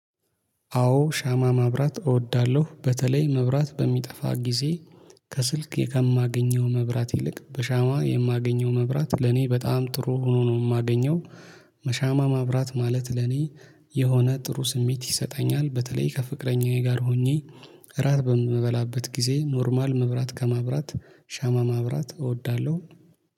አዎ ሻማ ማብራት እወዳለሁ በተለይ መብራት በሚጠፋ ጊዜ ከስልኬ ከማገኘው መብራት ይልቅ በሻማ የማገኘው መብራት ለኔ በጣም ጥሩ ሆኖ ነው የማገኘው። በሻማ ማብራት ማለት ለኔ የሆነ ጥሩ ስሜት ይሰጠኛል በተለይ ከፍቅረኛዬ ጋር ሆኜ። እራት በምበላበት ጊዜ ኖርማል መብራት ከማብራት ሻማ ማብራት እወዳለሁ